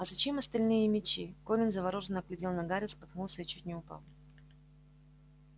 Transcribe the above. а зачем остальные мячи колин заворожённо глядел на гарри споткнулся и чуть не упал